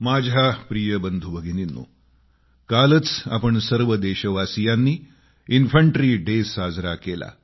माझ्या प्रिय बंधूभगिनींनो कालच आपण सर्व देशवासीयांनी इन्फंट्री डे साजरा केला